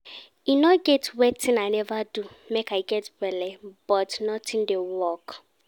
E no get wetin I never do make I get belle, but nothing dey work